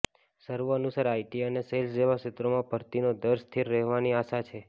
સર્વે અનુસાર આઈટી અને સેલ્સ જેવા ક્ષેત્રોમાં ભરતીનો દર સ્થિર રહેવાની આશા છે